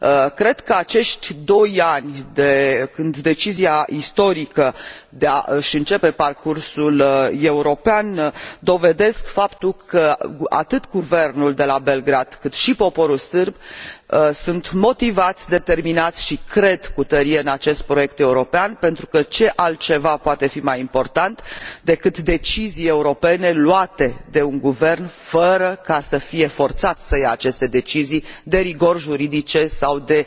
Cred că acești doi ani de la decizia istorică de a își începe parcursul european dovedesc faptul că, atât guvernul de la Belgrad, cât și poporul sârb sunt motivați, determinați și cred cu tărie în acest proiect european, pentru că ce altceva poate fi mai important decât deciziile europene luate de un guvern, fără a fi forțat să ia aceste decizii de rigori juridice sau de